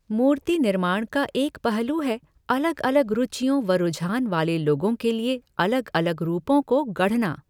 मूर्ति निर्माण का एक पहलू है अलग अलग रुचियों व रुझान वाले लोगों के लिए अलग अलग रूपों को गढ़ना।